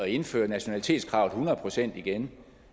indføre nationalitetskravet hundrede procent igen